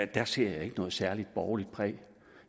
der ser jeg ikke noget særlig borgerligt præg